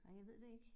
Ej jeg ved det ik